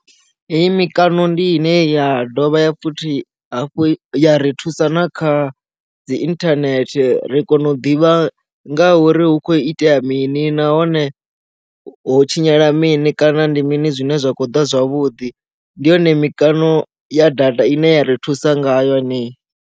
Hei mikano ndi ine ya dovha futhi ya ri thusa na kha dzi internet ri kona u ḓivha ngauri hu khou itea mini nahone ho tshinyala mini kana ndi mini zwine zwa khou ḓa zwavhuḓi ndiyone mikano ya data ine ya ri thusa nga yo henei.